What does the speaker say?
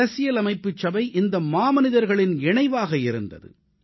அரசியலமைப்புச் சபை இந்த மாமனிதர்களின் சங்கமமாக இருந்தது